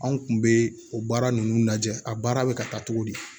Anw kun bɛ o baara ninnu lajɛ a baara bɛ ka taa cogo di